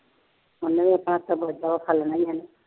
ਉਹਨਾ ਦਾ ਬਚਾ ਹੋਇਆ ਖਾ ਲੈਣਾ ਉਹਨਾ ਨੇ